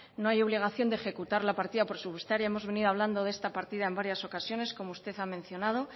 no hay obligación de ejecutar la partida presupuestaria hemos venido hablando de esta partida en varias ocasiones como usted ha mencionado